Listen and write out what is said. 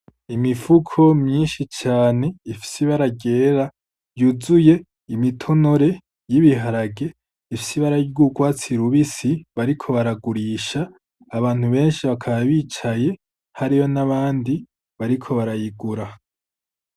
Imifuko myinshi cane, ifise ibara ryera yuzuye imitonore y'ibiharage ifise ibara ry'urwatsi rubisi bariko baragurisha, abantu benshi bakaba bicaye hariyo n' abandi bariko barayigura.